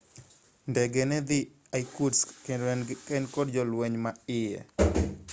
ndege nedhi irkutsk kendo ne en kod jolweny ma iye